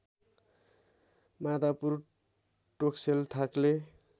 माधापुर टोक्सेल थाक्ले